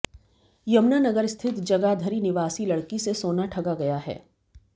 यमुनानगर स्थित जगाधरी निवासी लड़की से सोना ठगा गया है